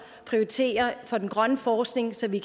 prioritere for den grønne forskning så vi